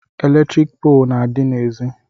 Eletrik poolu na-adị n'ezi